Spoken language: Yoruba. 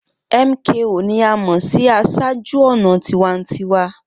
MKO ni a mọ si aṣáájú-ọnà tiwantiwa.